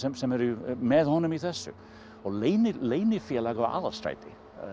sem eru með honum í þessu leynifélag við Aðalstræti